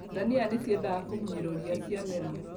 Ndania nĩciendaga kũmunyĩrwo ria ciamera.